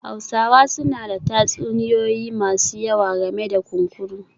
Hausawa suna da tatsuniyoyi masu yawa game da kunkuru